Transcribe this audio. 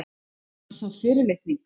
Var það fyrirlitning?